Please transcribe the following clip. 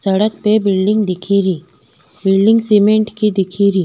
सड़क पे बिल्डिंग दिखेरी बिल्डिंग सीमेंट की दिखेरी।